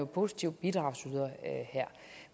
positiv bidragsyder her